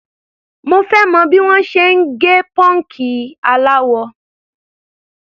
Mo fẹ́ mọ̀ bí wọ́n ti ń gẹ pọ́ǹkì aláwọ.